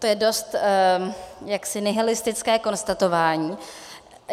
To je dost jaksi nihilistické konstatování.